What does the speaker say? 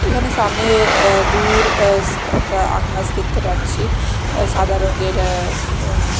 এখানে সামনে এ দূর আঃ একটা আকাশ দেখতে পাচ্ছি সাদা রঙ্গের এ উম--